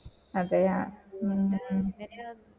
അതേയ മ് മ്